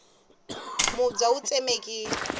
mubya wu tsemekile